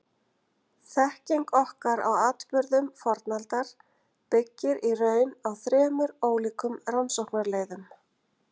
Þekking okkar á atburðum fornaldar byggir í raun á þremur ólíkum rannsóknarleiðum.